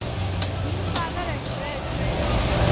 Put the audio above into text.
Himsagar express